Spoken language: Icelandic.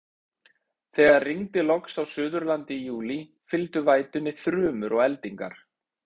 Þegar rigndi loks á Suðurlandi í júlí, fylgdu vætunni þrumur og eldingar.